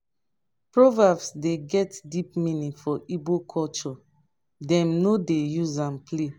proverbs dey get deep meaning for igbo culture dem no dey use am play.